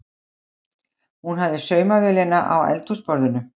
Hún hafði saumavélina á eldhúsborðinu.